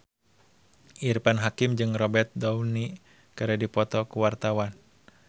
Irfan Hakim jeung Robert Downey keur dipoto ku wartawan